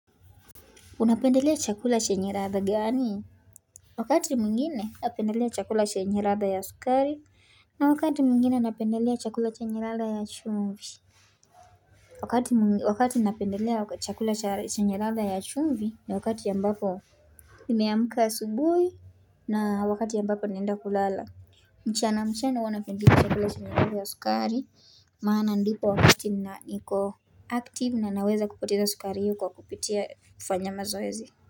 Unapendelea chakula chenye radha gani? Wakati mwingine napendelea chakula chenye radha ya sukari na wakati mwingine napendelea chakula chenye radha ya chumvi. Wakati napendelea chakula chenye radha ya chumvi ni wakati ambapo nimeamka asubuhi na wakati ambapo naenda kulala mchana mchana huwa napendi chakula chenye radha ya sukari maana ndipo wakati na niko Active na naweza kupoteza sukari hiyo kwa kupitia kufanya mazoezi.